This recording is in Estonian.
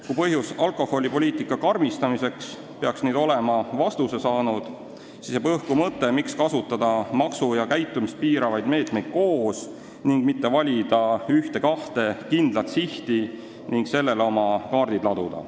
Kui küsimus, miks on vaja alkoholipoliitikat karmistada, peaks nüüd olema vastuse saanud, siis jääb õhku mõte, miks kasutada maksumeetmeid ja käitumist piiravaid meetmeid koos, aga mitte valida ühte-kahte kindlat sihti ja sellele oma kaardid laduda.